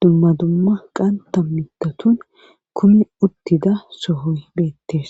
dumma dumma qanta mitatun kumi uttida sohoy beettes.